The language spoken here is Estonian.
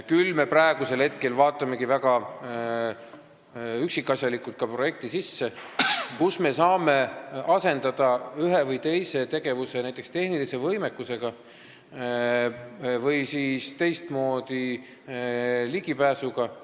Küll vaatame me praegu projektist väga üksikasjalikult, kus saab asendada ühe või teise tegevuse näiteks tehnilise võimekusega või teistmoodi ligipääsuga.